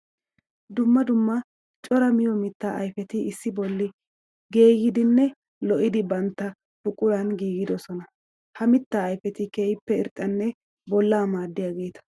Dumma dumma cora miyo mitta ayfeti issi bolla geeyidinne lo'idi bantta buquran giigidosona. Ha mitta ayfeti keehippe irxxanne bolla maadiyageeta.